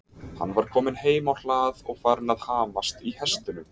Hann var kominn heim á hlað og farinn að hamast í hestunum.